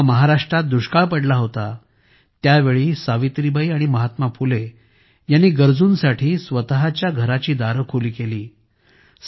जेव्हा महाराष्ट्रात दुष्काळ पडला त्या वेळी सावित्रीबाई आणि महात्मा फुले यांनी गरजूंसाठी स्वतःच्या घराची दारे खुली केली